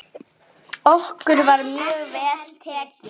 Okkur var mjög vel tekið.